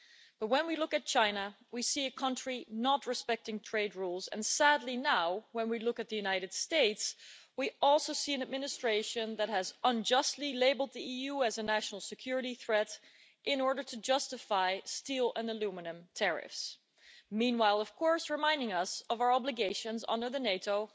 But when we look at China, we see a country not respecting trade rules and sadly now, when we look at the United States, we also see an administration that has unjustly labelled the EU as a national security threat in order to justify steel and aluminium tariffs, while, of course, reminding us of our obligations under the NATO